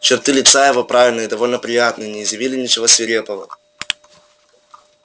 черты лица его правильные и довольно приятные не изъявляли ничего свирепого